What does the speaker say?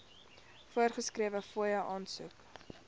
voorgeskrewe fooie aansoek